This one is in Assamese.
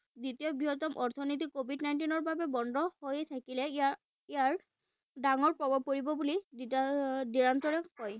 দ্বিতীয় বৃহত্তম অৰ্থনীতি covid nineteen ৰ বাবে বন্ধ হৈ থাকিলে ইয়াৰ ইয়াৰ ডাঙৰ প্ৰভাৱ পৰিব বুলি কয়।